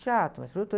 Teatro, mas produtor.